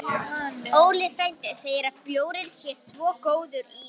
Óli frændi segir að bjórinn sé svo góður í